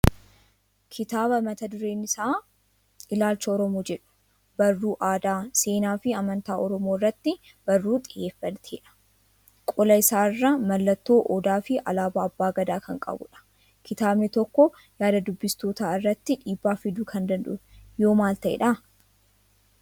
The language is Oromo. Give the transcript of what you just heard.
Kitaaba mata dureen isaa "Ilaalcha Oromoo"jedhu. Barruu aadaa, seenaa fi amantaa Oromoo irratti barruu xiyyeeffatedha. Qola isaa irraa mallattoo Odaa fi alaabaa abbaa gadaa kan qabudha. Kitaabni tokko yaada dubbistootaa irratti dhiibbaa fiduu kan danda'u yoo maal ta'edha?